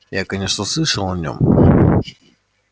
я конечно слышал о нём